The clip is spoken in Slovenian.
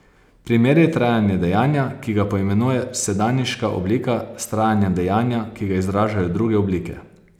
Primerjaj trajanje dejanja, ki ga poimenuje sedanjiška oblika, s trajanjem dejanja, ki ga izražajo druge oblike.